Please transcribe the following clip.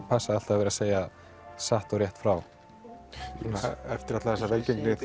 passa alltaf að vera að segja satt og rétt frá eftir alla þessa velgengni